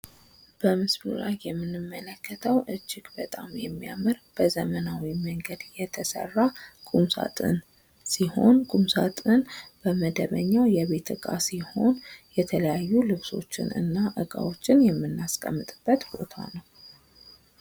በምስሉ ላይ የምንመለከተው እጅግ በጣም የሚያምር በዘመናዊ መንገድ የተሰራ ቁም ሳጥን ሲሆን ቁም ስጥኑም በመደበኛው የቤት እቃ ሲሆን የተለያዩ ልብሶችን እና እቃዎችን የምናስቀምጥበት ቦታ ነው።